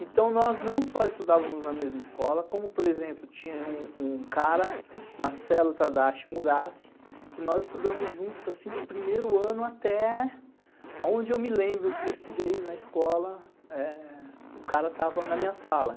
Então, nós não só estudávamos na mesma escola, como, por exemplo, tinha um cara, Marcelo Tadashi Murassi, que nós estudamos juntos, assim, do primeiro ano até onde eu me lembro que eu estudei na escola, o cara estava na minha sala.